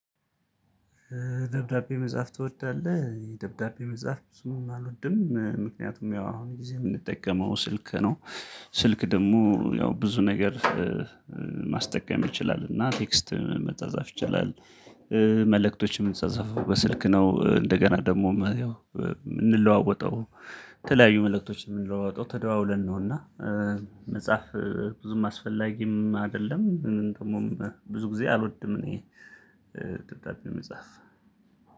ደብዳቤ መጽሐፍ ትወዳለህ ደብዳቤ መጽሐፍ ብዙም አልወድም ምክንያቱም ያው አሁን ጊዜ የምንጠቀመው ስልክ ነው። ስልክ ደግሞ ያው ብዙ ነገር ማስጠቀም ይችላል እና ቴክስት መጻጻፍ ይችላል። መልእክቶችም የምንጻጻፈው በስልክ ነው እንደገና ደግሞ ያው የምንለዋወጠው የተለያዩ መልእክቶች የምንለዋወጠው ተደዋውለን ነውና። መጻፍ ብዙም አስፈላጊም አይደለም ደግሞም ብዙ ጊዜ አልወድም እኔ። ደብዳቤ መጻፍ